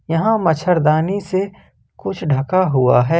यहां मच्छरदानी से कुछ ढका हुआ है।